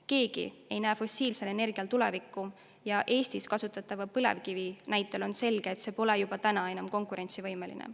Keegi ei näe fossiilsel energial tulevikku ja Eestis kasutatava põlevkivi näitel on selge, et see pole juba täna enam konkurentsivõimeline.